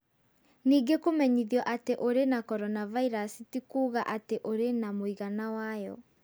Ningĩ kũmenyithio atĩ ũrĩ na coronavirusi ti kuuga atĩ nĩ ũrĩ na mũigana wayo.